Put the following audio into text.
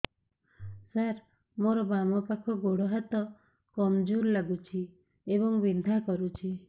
ସାର ମୋର ବାମ ପାଖ ଗୋଡ ହାତ କମଜୁର ଲାଗୁଛି ଏବଂ ବିନ୍ଧା କରୁଛି